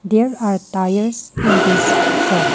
There are tires in this shop.